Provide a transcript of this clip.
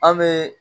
An bɛ